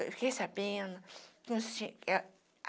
Eu fiquei sabendo, que um